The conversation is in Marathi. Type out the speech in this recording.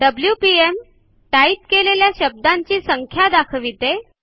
डब्ल्यूपीएम - टाइप केलेल्या शब्दांची संख्या दाखाविते